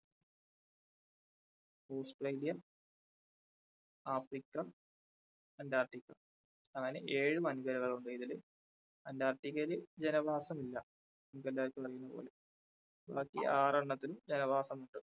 Australia Africa, Antarctica അങ്ങനെ ഏഴ് വൻകരകൾ ഉണ്ട്. ഇതില് അന്റാർട്ടിക്കയില് ജനവാസമില്ല ബാക്കി ആറെണ്ണത്തിലും ജനവാസമുണ്ട്.